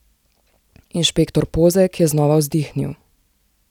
Inšpektor Pozeg je znova vzdihnil.